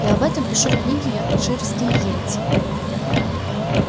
я об этом пишу в книге йоркширские йети